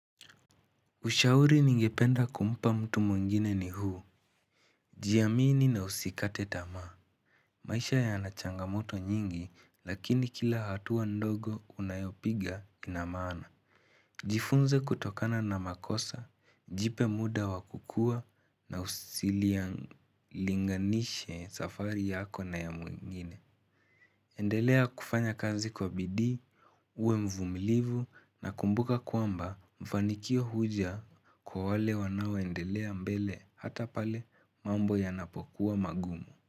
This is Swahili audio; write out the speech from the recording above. Ushauri ningependa kumpa mtu mwingine ni huu, jiamini na usikate tamaa. Maisha yana changamoto nyingi lakini kila hatua ndogo unayopiga ina maana. Jifunze kutokana na makosa, jipe muda wakukua na usilinganishe safari yako na ya mwingine. Endelea kufanya kazi kwa bidii, uwe mvumilivu na kumbuka kwamba mafanikio huja kwa wale wanaoendelea mbele hata pale mambo yanapokuwa magumu.